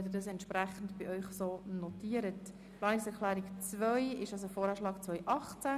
Zum Abstimmungsprocedere: Ich werde zuerst die Planungserklärung 2 zur Abstimmung bringen.